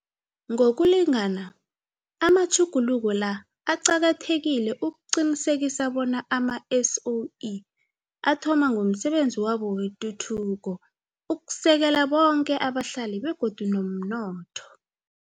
Ngokulingana, amatjhuguluko la aqakathekile ukuqinisekisa bona ama-SOE athoma ngomsebenzi wabo wetuthuko ukusekela boke abahlali begodu nomnotho.